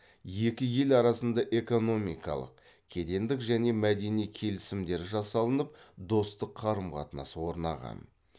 екі ел арасында экономикалық кедендік және мәдени келісімдер жасалынып достық қарым қатынас орнаған